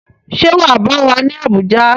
Ṣé wà á bá wa ní Abuja?